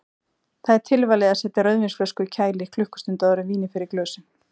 Því er tilvalið að setja rauðvínsflösku í kæli klukkustund áður en vínið fer í glösin.